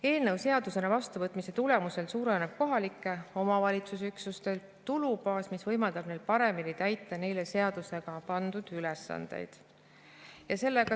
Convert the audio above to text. Eelnõu seadusena vastuvõtmise tulemusel suureneb kohalike omavalitsusüksuste tulubaas, mis võimaldab neil paremini täita neile seadusega pandud ülesandeid.